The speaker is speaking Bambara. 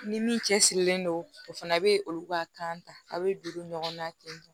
Ni min cɛsirilen don o fana bɛ olu ka kan ta a bɛ juru ɲɔgɔnna ten